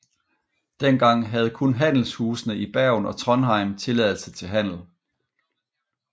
Dengang havde kun handelshusene i Bergen og Trondheim tilladelse til handel